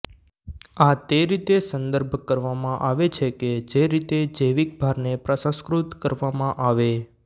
આ તે રીતે સંદર્ભ કરવામાં આવે છે કે જે રીતે જૈવિક ભારને પ્રસંસ્કૃત કરવામાં આવે